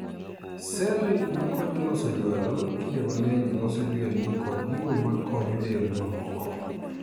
Sel makonyo loso jwalo kinde mang'eny loso jwelni kod gigo makonyo del mamoko.